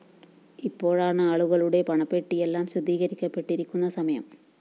ഇപ്പോഴാണ് ആളുകളുടെ പണപ്പെട്ടിയെല്ലാം ശുദ്ധീകരിക്കപ്പെട്ടിരിക്കുന്ന സമയം